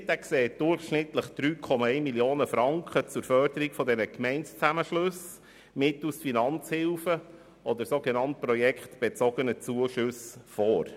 Der Rahmenkredit sieht durchschnittlich 3,1 Mio. Franken zur Förderung von Gemeindezusammenschlüssen mittels Finanzhilfen oder sogenannt projektbezogener Zuschüsse vor.